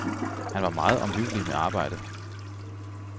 Han var meget omhyggelig med arbejdet.